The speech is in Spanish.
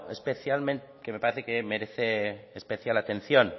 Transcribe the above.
que me parece que merece especial atención